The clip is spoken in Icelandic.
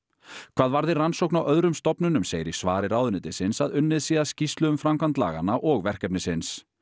hvað varði rannsókn á öðrum stofnunum segir í svari ráðuneytisins að unnið sé að skýrslu um framkvæmd laganna og verkefnisins